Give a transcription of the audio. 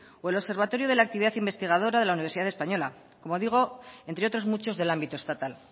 o el observatoria de la actividad investigadora de la universidad española como digo entre otros muchos del ámbito estatal